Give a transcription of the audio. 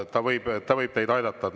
Ta võib teid aidata.